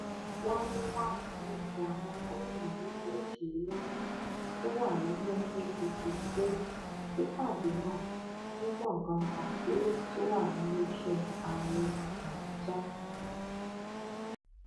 wámúwámù lẹsẹ àwọn gómìnà méjìlélógún tó wà lẹgbẹ apc pé sípàdé náà ní gbọngàn àpérò tó wà níléeṣẹ ààrẹ làbújá